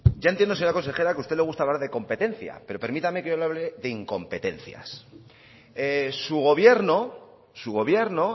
ya entiendo señora consejera que a usted le gusta hablar de competencia pero permítame que yo le hable de incompetencias su gobierno su gobierno